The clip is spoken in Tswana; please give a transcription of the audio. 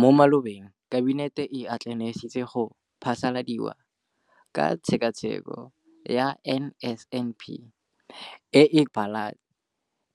Mo malobeng Kabinete e atlenegisitse go phasaladiwa ga Pegelo ka Tshekatsheko ya NSNP e e kwadilweng ke Lefapha la